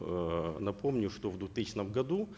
эээ напомню что в двухтысячном году